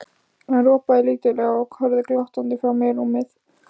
Hann ropaði lítillega og horfði glottandi fram yfir rúmið.